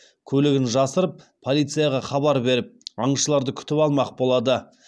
көлігін жасырып полицияға хабар беріп аңшыларды күтіп алмақ болады